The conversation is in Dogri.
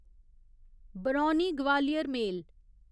बरौनी ग्वालियर मेल